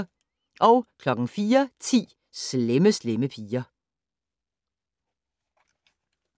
04:10: Slemme Slemme Piger